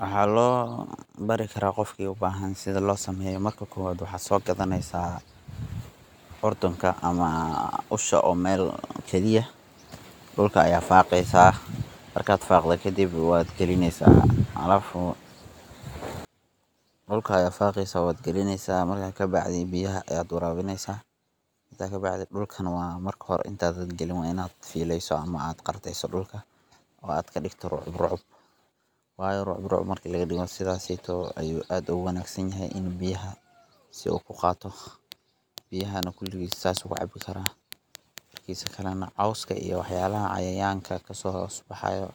Waxa lobarii kara gofka ubahan sida losameyo marka kowad waxad sogadaneysa curdunka ama ushaa oo mel lagaliya, dulka aya fageysa markad fagdo kadib wadh galineysaa, alafu dulka ayad fageysa wadh galineysa marka kabacdi biyaha ayad warawineysa, matka kabacdi dulkana inta dagdagin wa inad fileyso ama qardeyso dulka oo aad kadigto mid islaeg, sidas seytow ayay aad uguwanagsan yaxay in biya sii u kugato biyaha kuligis sas ayu kucabi karaa, ama cowska iyo waxyabo cayayanka kasohosbahayo